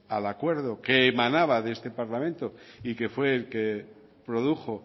al acuerdo que emanaba de este parlamento y que fue el que produjo